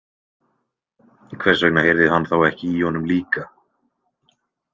Hvers vegna heyrði hann þá ekki í honum líka?